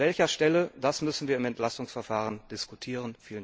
An welcher Stelle, das müssen wir im Entlastungsverfahren diskutieren!